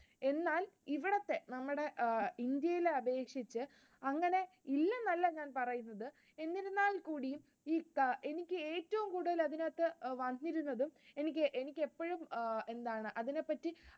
എന്നാ ഇവിടത്തെ നമ്മുടെ India യിലെ അപേക്ഷിച്ച്, അങ്ങനെ ഇല്ലെന്നല്ല ഞാൻ പറയുന്നത്, എന്നിരുന്നാൽ കൂടിയും ഈ എനിക്ക് ഏറ്റവും കൂടുതൽ അതിനകത്ത് വന്നിരുന്നതും എനിക്ക് എപ്പോഴും എന്താണ് അതിനെ പറ്റി